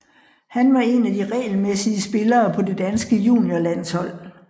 Han var en af de regelmæssige spillere på det danske juniorlandshold